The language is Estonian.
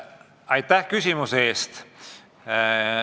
Aitäh küsimuse eest!